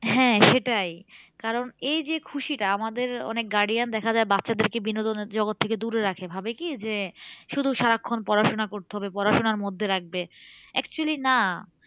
হ্যাঁ সেটাই কারণ এই যে খুশিটা আমাদের অনেক guardian দেখে যায় বাচ্ছাদেরকে বিনোদনের জগৎ থেকে দূরে রাখে ভাবে কি যে শুধু সারাক্ষন পড়াশোনা করতে হবে পড়াশোনার মধ্যে রাখবে actually না